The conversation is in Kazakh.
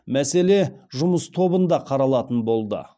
мәселе жұмыс тобында қаралатын болды